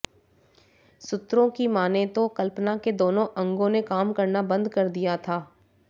सूत्रों की मानें तो कल्पना के दोनों अंगो ने काम करना बंद कर दिया था